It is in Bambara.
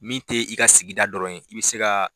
Min te i ka sigida dɔrɔn yen, i be se ka